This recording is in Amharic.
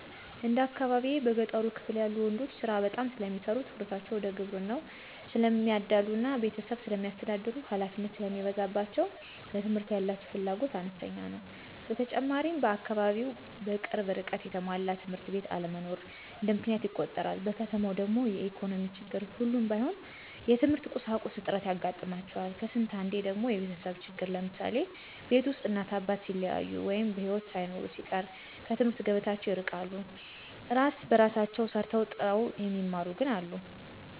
እንደ አካባቢየ በገጠሩ ክፍል ያሉ ወንዶች ስራ በጣም ስለሚሰሩ ትኩረታቸው ወደ ግብርናው ስለሚያዳሉ እና ቤተሰብ ስለሚያስተዳድሩ ሀላፊነት ስለሚበዛባቸው ለትምህርት ያላቸው ፍላጎት አነስተኛ ነው። በተጨማሪም በአካባቢው በቅርብ ርቀት የተሟላ ትምህርት ቤት አለመኖርም እንደ ምክንያት ይቆጠራል። በከተማው ደግሞ የኢኮኖሚ ችግር ሁሉም ባይሆኑ የትምህርት ቁሳቁስ እጥረት ያጋጥማቸዋል ከስንት አንዴ ደግሞ የቤተሰብ ችግር ለምሳሌ፦ ቤት ውስጥ እናት አባት ሲለያዩ ወይ በሒወት ሳይኖሩ ሲቀር ከትምህርት ገበታቸው ይርቃሉ። እራስ በራሳቸው ሰርተው ጥረው የሚማሩም ግን አሉ።